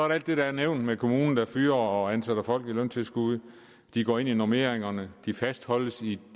der alt det der er nævnt med kommuner der fyrer og ansætter folk med løntilskud de går ind i normeringerne de fastholdes i